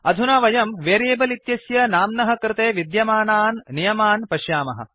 अधुना वयं वेरियेबल् इत्यस्य नाम्नः कृते विद्यमानान् नियमान् पश्यामः